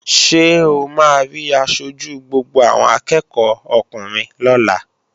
Ṣé o máa rí aṣojú gbogbo àwọn akẹ́ẹ̀kọ́ ọkùnrin lọ́la?